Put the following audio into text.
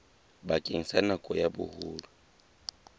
bakeng sa nako ya boholo